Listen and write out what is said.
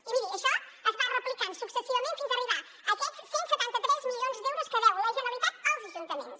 i miri això es va replicant successivament fins a arribar a aquests cent i setanta tres milions d’euros que deu la generalitat als ajuntaments